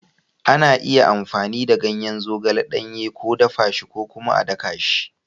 Ana iya amfani da ganyen zogale ɗanye, ko dafa shi, ko kuma a daka shi.